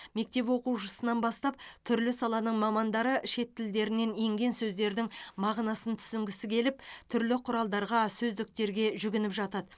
мектеп оқушысынан бастап түрлі саланың мамандары шет тілдерінен енген сөздердің мағынасын түсінгісі келіп түрлі құралдарға сөздіктерге жүгініп жатады